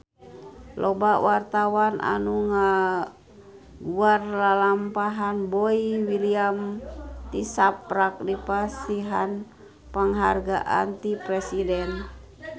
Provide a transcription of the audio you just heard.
Loba wartawan anu ngaguar lalampahan Boy William tisaprak dipasihan panghargaan ti Presiden